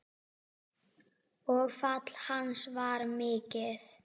Og fall hans var mikið.